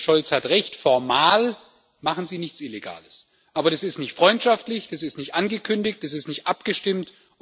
Der Kollege Scholz hat Recht, formal machen sie nichts Illegales, aber das ist nicht freundschaftlich, das ist nicht angekündigt, das ist nicht abgestimmt.